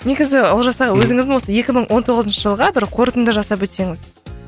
негізі олжас аға өзіңіздің осы екі мың он тоғызыншы жылға бір қортынды жасап өтсеңіз